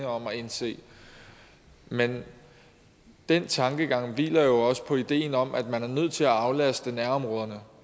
om at indse men den tankegang hviler jo også på ideen om at man er nødt til at aflaste nærområderne